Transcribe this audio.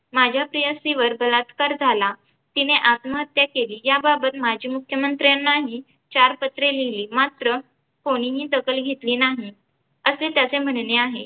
माझ्या प्रेयसीवर बलात्कार झाला, तिने आत्महत्या केली याबाबत माजी मुख्यमंत्र्यांनाही चार पत्रे लिहिली मात्र कोणीही दखल घेतली नाही असे त्याचे म्हणणे आहे.